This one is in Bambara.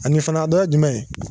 Ani fana dɔ ye jumɛn ye